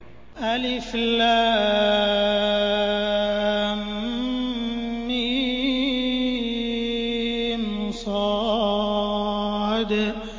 المص